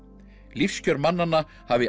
lífskjör mannanna hafi